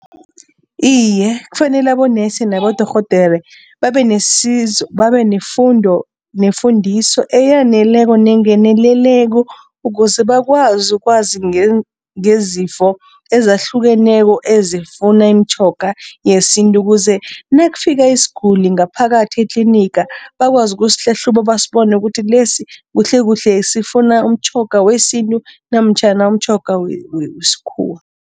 Iye, kufanele abonesi nabodorhodere babe nesizo, babe nefundo, nefundiso eyaneleko nengeneleleko ukuze bakwazi ukwazi ngezifo ezahlukeneko ezifuna imitjhoga yesintu ukuze nakufika isiguli ngaphakathi etliniga bakwazi ukusihlahluba basibone ukuthi lesi kuhlekuhle sifuna umtjhoga wesintu namtjhana umtjhoga wesikhuwa.